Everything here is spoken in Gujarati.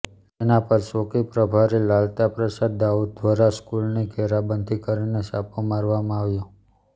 તેના પર ચોકી પ્રભારી લાલતા પ્રસાદ દાઉ ઘ્વારા સ્કૂલની ઘેરાબંધી કરીને છાપો મારવામાં આવ્યો